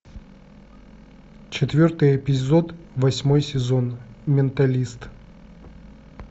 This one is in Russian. четвертый эпизод восьмой сезон менталист